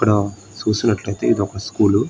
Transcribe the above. ఇక్కడ సుసినట్లైతే ఇది ఒక స్కూల్ .